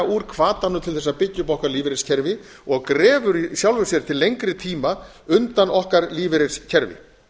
úr hvatanum til þess að byggja upp okkar lífeyriskerfi og grefur í sjálfu sér til lengri tíma undan okkar lífeyriskerfi